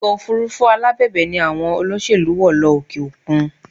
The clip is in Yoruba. Ọkọ̀ òfurufú alábẹ̀bẹ̀ ni àwọn olóṣèlú wọ̀ lọ òkè òkun